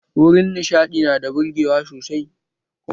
Wurin nishaɗi nada burgewa sosai